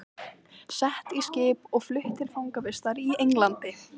Sett í skip og flutt til fangavistar í Englandi!